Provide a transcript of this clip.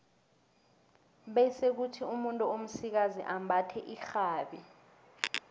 bese kuthi umuntu omsikazi ambathe irhabi